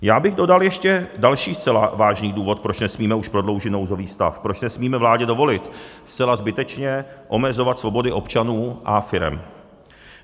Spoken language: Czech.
Já bych dodal ještě další zcela vážný důvod, proč nesmíme už prodloužit nouzový stav, proč nesmíme vládě dovolit zcela zbytečně omezovat svobody občanů a firem.